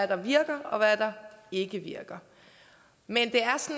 der virker og hvad der ikke virker men det